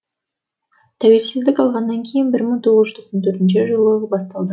тәуелсіздік алғаннан кейін бір мың тоғыз жүз тоқсан төртіншы жылы басталды